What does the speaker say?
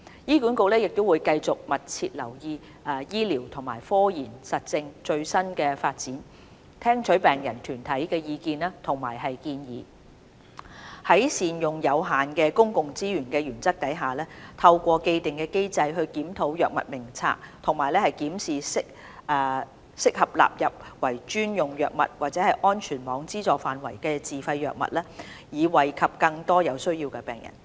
醫管局會繼續密切留意醫療和科研實證的最新發展，聽取病人團體的意見和建議，在善用有限公共資源的原則下，透過既定機制檢討《藥物名冊》和檢視適合納入為專用藥物或安全網資助範圍的自費藥物，以惠及更多有需要的病人。